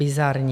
Bizarní.